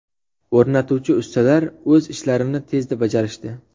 O‘rnatuvchi ustalar o‘z ishlarini tezda bajarishdi.